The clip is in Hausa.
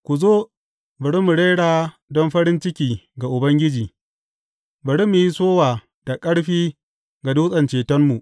Ku zo, bari mu rera don farin ciki ga Ubangiji; bari mu yi sowa da ƙarfi ga Dutsen cetonmu.